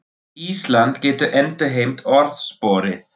Ísland getur endurheimt orðsporið